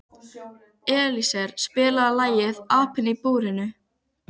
Elíeser, spilaðu lagið „Apinn í búrinu“.